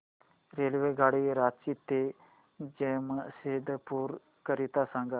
रेल्वेगाडी रांची ते जमशेदपूर करीता सांगा